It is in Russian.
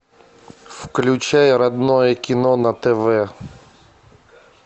включай родное кино на тв